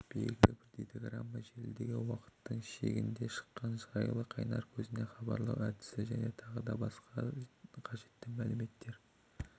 белгілі бір дейтаграмма желідегі уақыттың шегінен шықаны жайлы қайнар көзіне хабарлау әдісі және тағы басқа қажетті мәліметтер